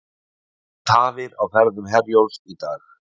Tafir á ferðum Herjólfs í dag